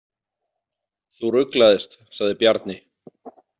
Þú ruglaðist, sagði Bjarni.